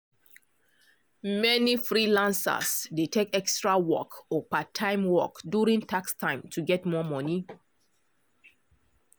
many freelancers dey take extra work or part-time work during tax time to get more money.